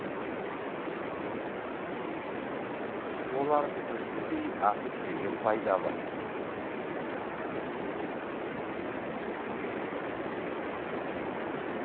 оларды бүтіндей асып жеген пайдалы